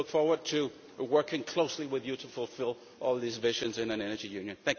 I look forward to working closely with you to fulfil all these visions in an Energy Union.